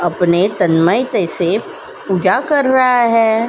अपने तन्मयते से पूजा कर रहा है।